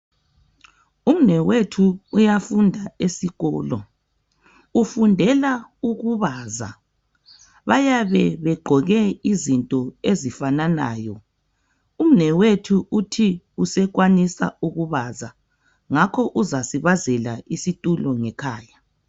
Umnewethu uyafunda esikolo, ufundela ukubaza. Bayabe begqoke izinto ezifananayo. Umnewethu uthi usekwanisa ukubaza, ngakho uzasibazela isitulo ngekhaya.